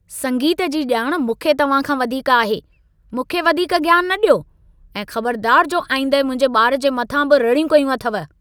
संगीत जी ॼाण मूंखे तव्हां खां वधीक आहे। मूंखे वधीक ज्ञान न ॾियो ऐं ख़बरदार जो आईंदह मुंहिंजे ॿार जे मथां बि रड़ियूं कयूं अथव।